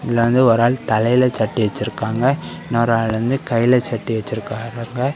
இதுல வந்து ஒரு ஆளு தலைல சட்டி வச்சிருக்காங்க இன்னொரு ஆளு வந்து கைல சட்டி வச்சிருக்காங்க.